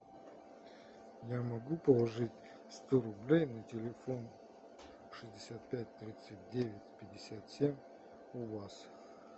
я могу положить сто рублей на телефон шестьдесят пять тридцать девять пятьдесят семь у вас